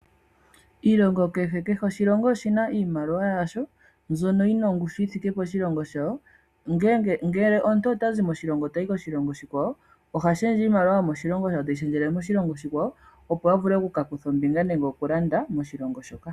Iilongo kehe, kehe oshilongo oshina iimaliwa yasho mbyono yina ongushu yithike poshilongo shawo. Ngele omuntu ota zi mo moshilongo tayi koshilongo oshikwawo, oha shendje iimaliwa teyi shendjele miimaliwa womoshilongo oshikwawo, opo a dhule oku ka kutha ombinga nenge oku landa moshilongo shoka.